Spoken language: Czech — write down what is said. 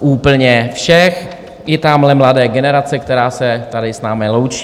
úplně všech, i tamhle mladé generace, která se tady s námi loučí.